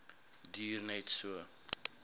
duur net so